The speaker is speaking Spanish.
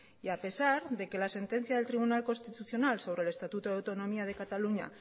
y a pesar de que la sentencia del tribunal constitucional sobre el estatuto de autonomía de cataluña